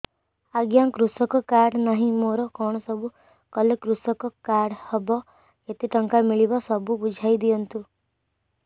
ଆଜ୍ଞା କୃଷକ କାର୍ଡ ନାହିଁ ମୋର କଣ ସବୁ କଲେ କୃଷକ କାର୍ଡ ହବ କେତେ ଟଙ୍କା ମିଳିବ ସବୁ ବୁଝାଇଦିଅନ୍ତୁ